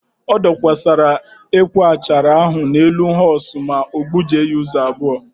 O dokwasara ekwe achara ahụ n'elu họọs sọọ ma gbujie ya ụzọ abụọ.